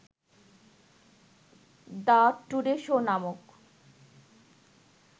‘the Today Show’ নামক